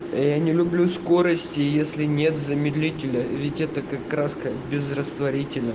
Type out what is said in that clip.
а я не люблю скорости если нет замедлителя ведь это как краска без растворителя